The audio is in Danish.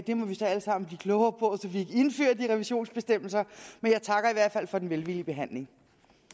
det må vi så alle sammen blive klogere på så vi indfører de revisionsbestemmelser men jeg takker i hvert fald for den velvillige behandling